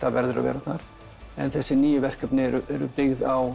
verður að vera þar en þessi nýju verkefni er byggð á